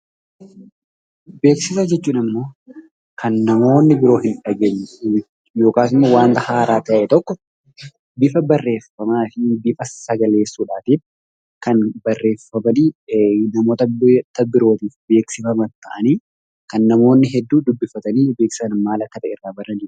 Beeksisa jechuun ammoo kan namoonni biroo hin dhageenye yookaan wanta haaraa ta'e tokko bifa barreeffamaa yookiin sagaleessuutiin kan barreeffamanii namoota biroof beeksifaman ta'anii kan namoonni hedduun dubbifatanii maal akka ta'e irraa baranidha.